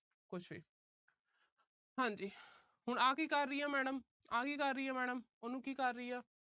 ਕੁੱਛ ਵੀ। ਹਾਂ ਜੀ। ਹੁਣ ਆਹ ਕੀ ਕਰ ਰਹੀ ਹੈ madam ਆਹ ਕੀ ਕਰ ਰਹੀ ਹੈ madam ਹੁਣ ਕੀ ਕਰ ਰਹੀ ਹੈ।